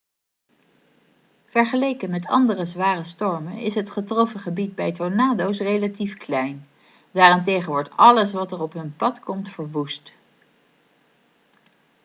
vergeleken met andere zware stormen is het getroffen gebied bij tornado's relatief klein daarentegen wordt alles wat er op hun pad komt verwoest